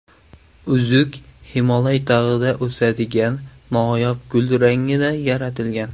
Uzuk Himolay tog‘ida o‘sadigan noyob gul rangida yaratilgan.